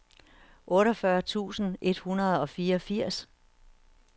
otteogfyrre tusind et hundrede og fireogfirs